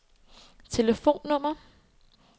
telefonnummer